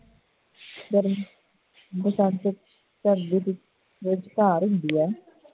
ਗਰਮ ਬਸੰਤ ਗਰਮੀ ਵਿਚਕਾਰ ਹੁੰਦੀ ਹੈ